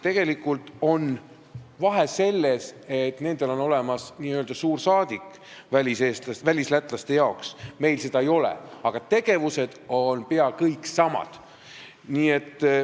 Tegelikult on vahe selles, et nendel on olemas n-ö suursaadik välislätlaste jaoks, meil seda ei ole, aga tegevused on pea kõik samad.